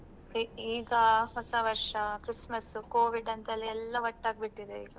ಈ ಈಗ ಹೊಸ ವರ್ಷ, christmas Covid ಅಂತ ಎಲ್ಲ ಎಲ್ಲಾ ಒಟ್ಟಾಗ್ ಬಿಟ್ಟಿದೆ ಈಗ.